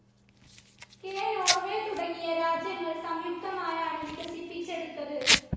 K. Norway തുടങ്ങിയ രാജ്യങ്ങൾ സംയുക്തമായാണ് വികസിപ്പിച്ചെടുത്തത്.